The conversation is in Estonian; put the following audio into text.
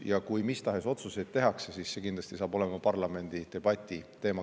Ja kui mis tahes otsuseid tehakse, siis saab see kindlasti olema kõigepealt parlamendi debati teema.